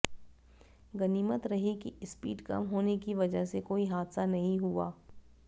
गनीमत रही कि स्पीड कम होने की वजह से कोई हादसा नहीं हुआ